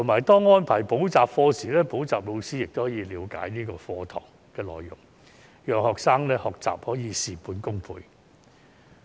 當安排補習課時，補習老師亦可以了解課堂內容，讓學生的學習可以事半功倍。